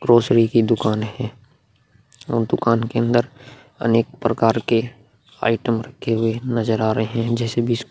grocery की दुकान है और दुकान के अंदर अनेक प्रकार के आइटम रखे हुए नजर आ रहे हैं जैसे बिस्कुट --